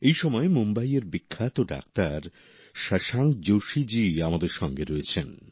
এই সময় মুম্বাইয়ের বিখ্যাত ডাক্তার শশাঙ্ক যোশী জি আমাদের সঙ্গে রয়েছেন